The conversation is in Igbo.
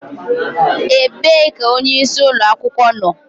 Ebee ka onyeisi ụlọ akwụkwọ nọ?